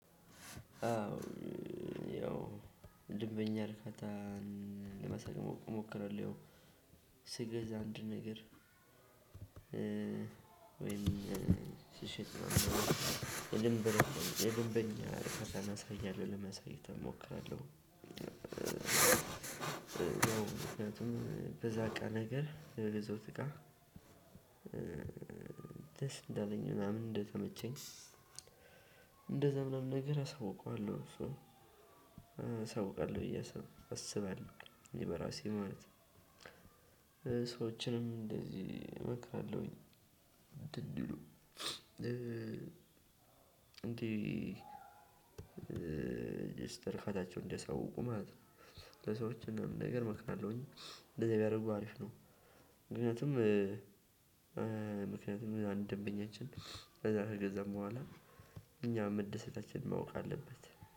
አዎ ያው ደንበኛ ርካታን ለመረቅ እሞክራለሁ። አንድ ነገር ወይም ስሸጥ የድንበኛ እሞክራለሁ። ምክንያቱንም በዛ እቃ ነገር በገዛውት እቃ ደስ እንዳለኝ ምናምን እንደተመቸኝ። እንደዛ ምናምን ነገር አሳውቀዋለሁ እሱን አሳውቃለሁ ብዬ አስባለሁ በራሴ ማለት ነው ሰዎችንም እንደዚህ እመክራለሁኝ። የደስታ እርካታቸውን እንዲያሳውቁ ማለት ነው። ለሰዎች ምናምን ነገር እመክርላሁኝ እንደዚያ ቢያደርጉ አሪፍ ነው። ምክንያቱም አንድ ደንበኛችን ከዛ ከገዛም በኋላ እኛ መደሰታችን ማወቅ አለበት